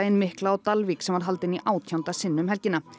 mikla á Dalvík sem var haldinn í átjánda sinn um helgina